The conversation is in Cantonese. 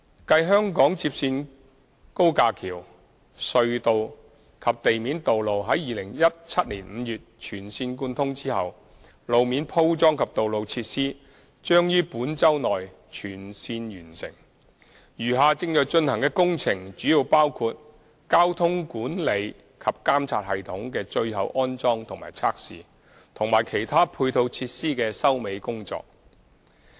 繼香港接線高架橋、隧道及地面道路在2017年5月全線貫通後，路面鋪裝及道路設施將於本周內全線完成，餘下正在進行的工程主要包括交通管理及監察系統的最後安裝及測試，以及其他配套設施的收尾工作。